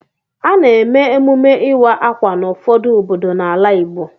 A na-eme emume ịwa ákwà n'ụfọdụ obodo n'ala Igbo.